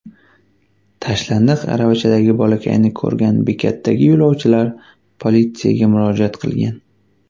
Tashlandiq aravachadagi bolakayni ko‘rgan bekatdagi yo‘lovchilar politsiyaga murojaat qilgan.